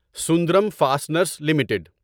Sundaram fasteners limited